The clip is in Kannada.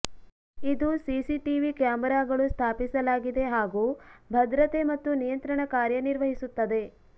ಇದು ಸಿಸಿಟಿವಿ ಕ್ಯಾಮೆರಾಗಳು ಸ್ಥಾಪಿಸಲಾಗಿದೆ ಹಾಗೂ ಭದ್ರತೆ ಮತ್ತು ನಿಯಂತ್ರಣ ಕಾರ್ಯನಿರ್ವಹಿಸುತ್ತದೆ